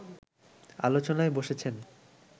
আলোচনায় বসেছেন